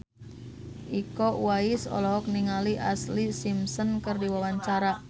Iko Uwais olohok ningali Ashlee Simpson keur diwawancara